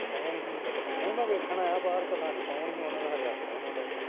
ਕੋਣ ਸੀ, ਨਹੀਂ ਮੈਂ ਵੇਖਣ ਆਇਆ ਬਾਹਰ, ਪਤਾ ਨੀ ਕੌਣ ਈ ਓ, ਓਹਨਾ ਦਾ ਖਰੇ ਆਪਣਾ ਈ ਮੁੰਡਾ ਈ ਓ